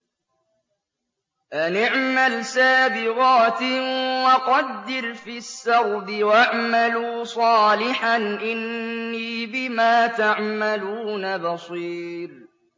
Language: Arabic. أَنِ اعْمَلْ سَابِغَاتٍ وَقَدِّرْ فِي السَّرْدِ ۖ وَاعْمَلُوا صَالِحًا ۖ إِنِّي بِمَا تَعْمَلُونَ بَصِيرٌ